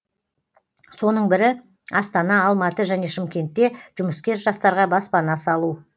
соның бірі астана алматы және шымкентте жұмыскер жастарға баспана салу